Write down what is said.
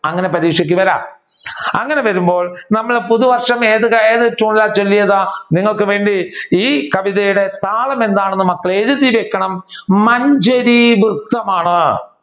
അങ്ങനെ പരീക്ഷക്ക് വരാം അങ്ങനെ വരുമ്പോൾ നമ്മൾ പുതുവർഷം ഏത് tune ലാണ് ചൊല്ലിയത് നിങ്ങൾക്ക് വേണ്ടി ഈ കവിതയുടെ താളം എന്താണെന്ന് മക്കൾ എഴുതി വെക്കണം മഞ്ചരി വൃത്തമാണ്